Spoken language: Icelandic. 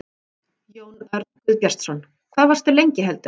Jón Örn Guðbjartsson: Hvað varstu lengi heldurðu?